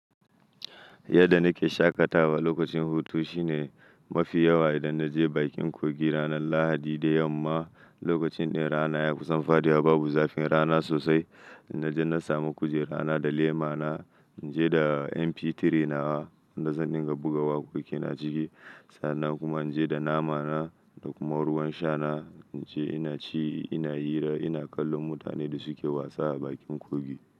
Yadda nake shaƙatawa lokacin hutu shine mafi yawa idan na je bakin kogi ranar Lahadi da yamma. Lokacin da rana ya kusan faɗuwa, babu zafin rana sosai. Na je na samu kujerarana da lema na, in je da MP3 nawa wan da zan dinga buga waƙoƙi na a ciki. Sannan kuma inje da nama na da kuma ruwan sha na. Na je ina ci, ina hira, ina kallon mutanen da suke wasa a bakin kogi.